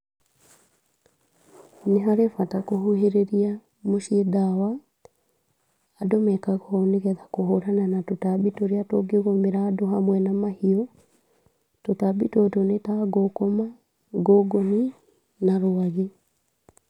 Nĩ harĩ bata kũhuhĩrĩria mũciĩ ndawa, andũ mekaga ũũ nĩgetha kũhũrana na tũtambi tũrĩa tũngĩgũmĩra andũ hamwe na mahiũ, tũtambi tũtũ nĩ ta, ngũkũma, ngũngũni na rwagĩ.